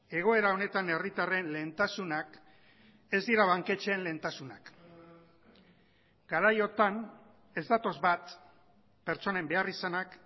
egoera honetan herritarren lehentasunak ez dira banketxeen lehentasunak garaiotan ez datoz bat pertsonen beharrizanak